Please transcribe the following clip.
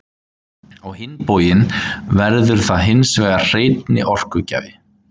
Á hinn bóginn verður það hins vegar hreinni orkugjafi.